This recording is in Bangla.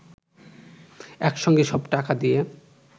একসঙ্গে সব টাকা দিয়ে